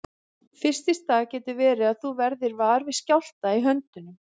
Fyrst í stað getur verið að þú verðir var við skjálfta í höndum.